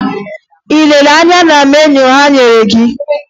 Ị lere anya na meniu ha nyere gị?